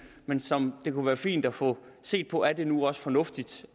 men som det kunne være fint at få set på er det nu også fornuftigt